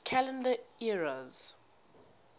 calendar eras